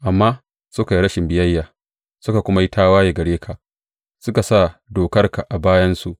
Amma suka yi rashin biyayya suka kuma yi tawaye gare ka; suka sa dokarka a bayansu.